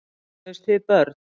Eignuðust þið börn?